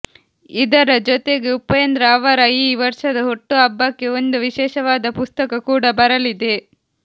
ಇದರ ಜೊತೆಗೆ ಉಪೇಂದ್ರ ಅವರ ಈ ವರ್ಷದ ಹುಟ್ಟುಹಬ್ಬಕ್ಕೆ ಒಂದು ವಿಶೇಷವಾದ ಪುಸ್ತಕ ಕೂಡ ಬರಲಿದೆ